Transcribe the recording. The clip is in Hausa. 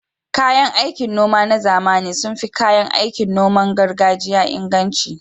Kayan aikin noma na zamani sun fi kayan aikin noman gargajiya inganci